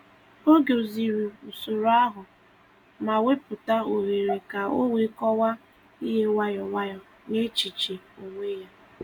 Ọ gọ̀zìrì usoro ahụ, ma wepụta ohere ka o wee kọwaa ihe nwayọ nwayọ n’echiche onwe ya.